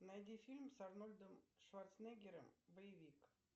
найди фильм с арнольдом шварценеггером боевик